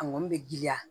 A kɔni bɛ giriya